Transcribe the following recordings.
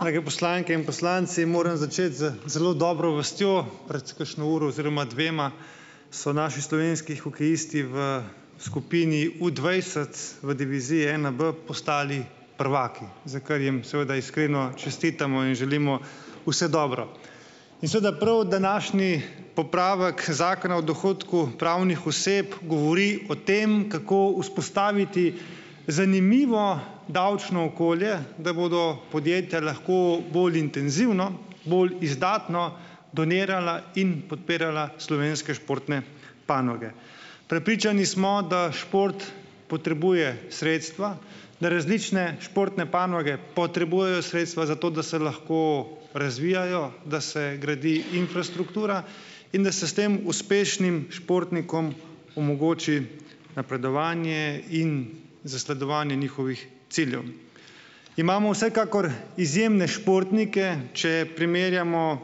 Drage poslanke in poslanci. Moram začeti z zelo dobro vestjo. Pred kakšno uro oziroma dvema so naši slovenski hokejisti v skupini v dvajset v diviziji enaB postali prvaki, za kar jim seveda iskreno čestitamo in želimo vse dobro. In seveda prav današnji popravek Zakona o dohodku pravnih oseb govori o tem, kako vzpostaviti zanimivo davčno okolje, da bodo podjetja lahko bolj intenzivno, bolj izdatno donirala in podpirala slovenske športne panoge. Prepričani smo, da šport potrebuje sredstva, da različne športne panoge potrebujejo sredstva za to, da se lahko razvijajo, da se gradi infrastruktura in da se s tem uspešnim športnikom omogoči napredovanje in zasledovanje njihovih ciljev. Imamo vsekakor izjemne športnike. Če primerjamo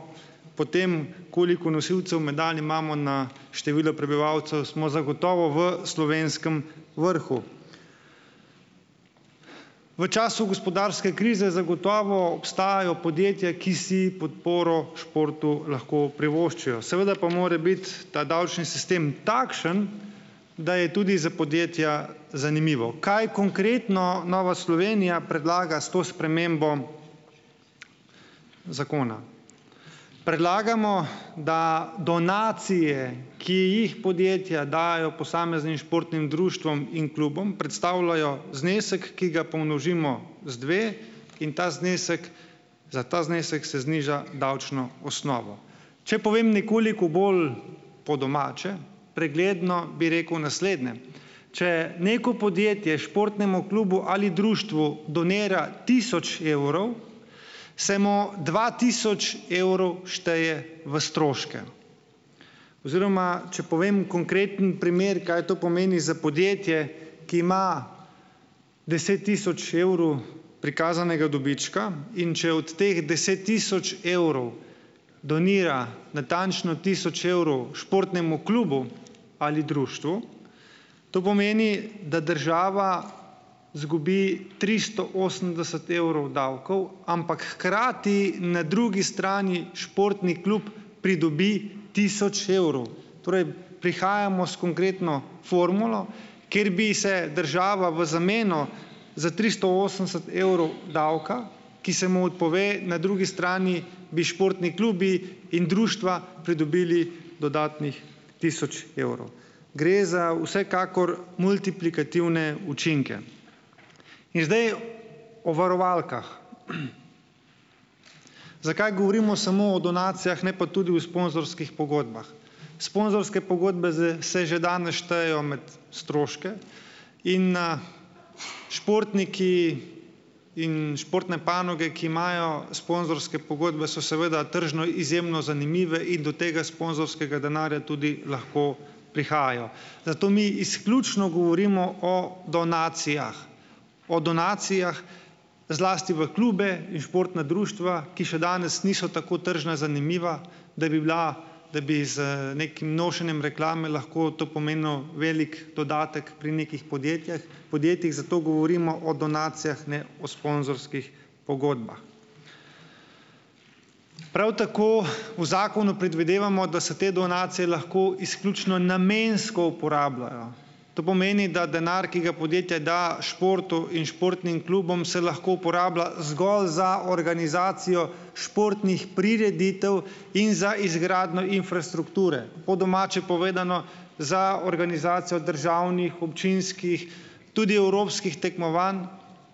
po tem, koliko nosilcev medalj imamo na število prebivalcev, smo zagotovo v slovenskem vrhu. V času gospodarske krize zagotovo obstajajo podjetja, ki si podporo v športu lahko privoščijo. Seveda pa mora biti ta davčni sistem takšen, da je tudi za podjetja zanimivo. Kaj konkretno Nova Slovenija predlaga s to spremembo zakona? Predlagamo, da donacije, ki jih podjetja dajejo posameznim športnim društvom in klubom, predstavljajo znesek, ki ga pomnožimo z dve in ta znesek, za ta znesek se zniža davčno osnovo. Če povem nekoliko bolj po domače, pregledno, bi rekel naslednje: če neko podjetje športnemu klubu ali društvu donira tisoč evrov, se mu dva tisoč evrov šteje v stroške oziroma, če povem konkreten primer, kaj to pomeni za podjetje, ki ima deset tisoč evrov prikazanega dobička, in če od teh deset tisoč evrov, donira natančno tisoč evrov športnemu klubu ali društvu, to pomeni, da država izgubi tristo osemdeset evrov davkov, ampak hkrati, na drugi strani športni klub pridobi tisoč evrov. Torej, prihajamo s konkretno formulo, kjer bi se država v zameno za tristo osemdeset evrov davka, ki se mu odpove, na drugi strani bi športni klubi in društva pridobili dodatnih tisoč evrov. Gre za vsekakor, multiplikativne učinke. In zdaj o varovalkah. Zakaj govorimo samo o donacijah, ne pa tudi o sponzorskih pogodbah? Sponzorske pogodbe z se že danes štejejo med stroške in na, športniki in športne panoge, ki imajo sponzorske pogodbe, so seveda tržno izjemno zanimive in do tega sponzorskega denarja tudi lahko prihajajo. Zato mi izključno govorimo o donacijah. O donacijah zlasti v klube in športna društva, ki še danes niso tako tržno zanimiva, da bi bila, da bi z nekim nošenjem reklame lahko to pomenilo velik dodatek pri nekih podjetjih, podjetjih, zato govorimo o donacijah, ne o sponzorskih pogodbah. Prav tako v zakonu predvidevamo, da se te donacije lahko izključno namensko uporabljajo. To pomeni, da denar, ki ga podjetje da športu in športnim klubom, se lahko uporablja zgolj za organizacijo športnih prireditev in za izgradnjo infrastrukture. Po domače povedano, za organizacijo državnih, občinskih, tudi evropskih tekmovanj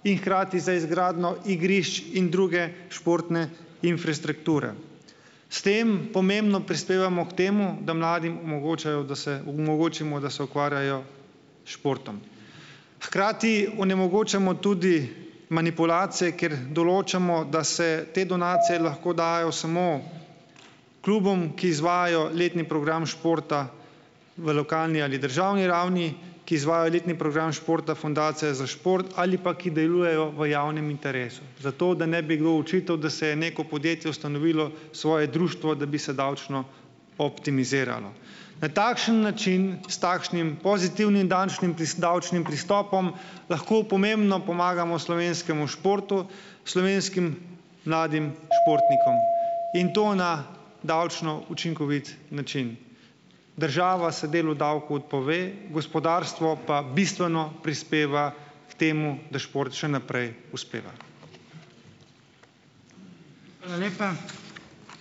in hkrati za izgradnjo igrišč in druge športne infrastrukture. S tem pomembno prispevamo k temu, da mladim omogočajo, da se omogočimo, da se ukvarjajo s športom. Hkrati onemogočamo tudi manipulacije, kaj r določamo, da se te donacije lahko dajejo samo klubom, ki izvajajo letni program športa v lokalni ali državni ravni, ki izvajajo letni program športa Fundacije za šport ali pa ki delujejo v javnem interesu, zato, da ne bi kdo očital, da si je neko podjetje ustanovilo svoje društvo, da bi se davčno optimiziralo. Na takšen način, s takšnim pozitivnim dančnim davčnim pristopom, lahko pomembno pomagamo slovenskemu športu, slovenskim mladim športnikom in to na davčno učinkovit način. Država se delu davkov odpove, gospodarstvo pa bistveno prispeva k temu, da šport še naprej uspeva.